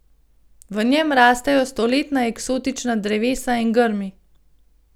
V njem rastejo stoletna eksotična drevesa in grmi.